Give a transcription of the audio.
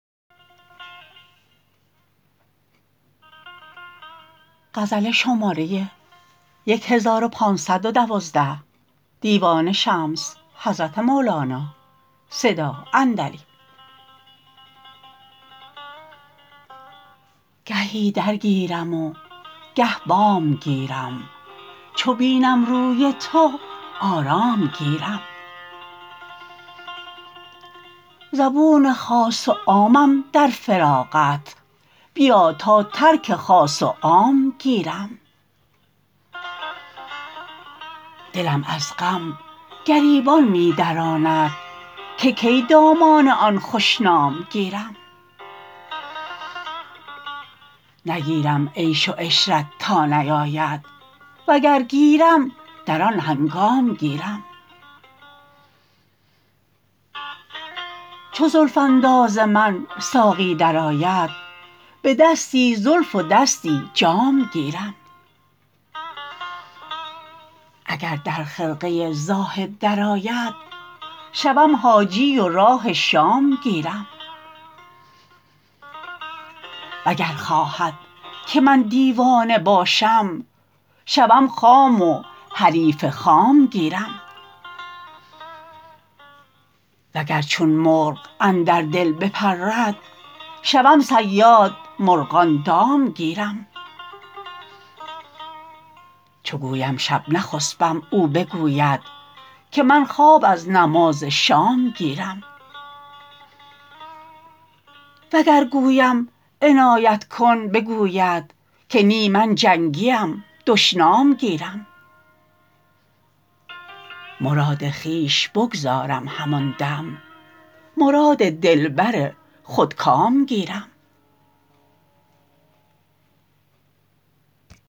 گهی در گیرم و گه بام گیرم چو بینم روی تو آرام گیرم زبون خاص و عامم در فراقت بیا تا ترک خاص و عام گیرم دلم از غم گریبان می دراند که کی دامان آن خوش نام گیرم نگیرم عیش و عشرت تا نیاید وگر گیرم در آن هنگام گیرم چو زلف انداز من ساقی درآید به دستی زلف و دستی جام گیرم اگر در خرقه زاهد درآید شوم حاجی و راه شام گیرم وگر خواهد که من دیوانه باشم شوم خام و حریف خام گیرم وگر چون مرغ اندر دل بپرد شوم صیاد مرغان دام گیرم چو گویم شب نخسپم او بگوید که من خواب از نماز شام گیرم وگر گویم عنایت کن بگوید که نی من جنگیم دشنام گیرم مراد خویش بگذارم همان دم مراد دلبر خودکام گیرم